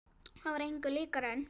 Það var engu líkara en